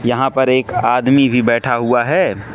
यहां पर एक आदमी भी बैठा हुआ है।